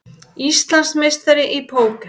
Íslandsmeistari í póker